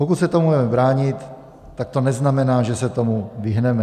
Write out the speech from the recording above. Pokud se tomu budeme bránit, tak to neznamená, že se tomu vyhneme.